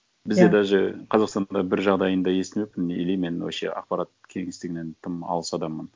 иә бізде даже қазақстанда бір жағдайын да естімеппін или мен вообще ақпарат кеңістігінен тым алыс адаммын